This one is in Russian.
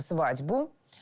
свадьбу